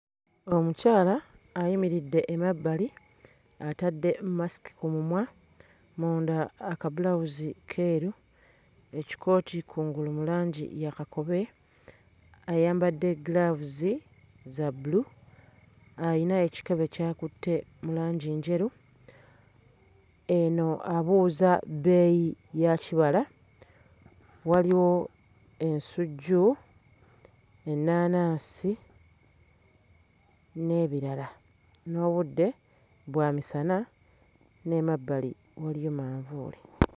Omukyala ayimiridde emabbali atadde mmasiki ku mumwa, munda akabulawuzi keeru, ekikooti kungulu mu langi ya kakobe, ayambadde ggiraavuzi za bbulu ayina ekikebe ky'akutte mu langi njeru eno abuuza bbeeyi ya kibala waliwo ensujju, ennaanansi n'ebirala n'obudde bwamisana n'emabbali waliyo manvuuli.